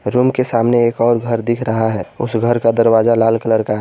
Room के सामने एक और घर दिख रहा है उस घर का दरवाजा लाल कलर का है।